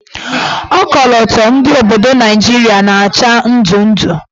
Okoloto ndị obodo Naijiria na-acha ndụndụ.